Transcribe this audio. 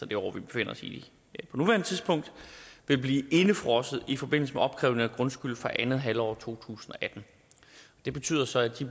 det år vi befinder os i vil blive indefrosset i forbindelse med opkrævning af grundskyld for andet halvår to tusind og atten det betyder så at de